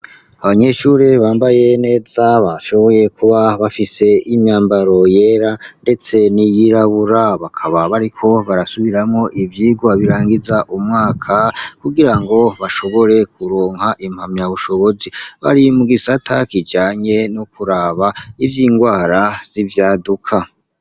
abanyeshuri bambaye neza bashoboye kuba bafise imyambaro yera ndetse niyirabura bakaba bariko barasubiramwo ibyigwa birangiza umwaka kugira ngo bashobore kuronka impamya bushobozi bari mu gisata kijanye no kuraba ivy'ingwara z'ibyaduka